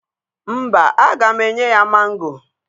Mba, aga m enye ya mango.